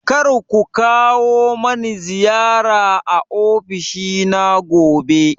Kar ku kawo mani ziyara a ofishina gobe.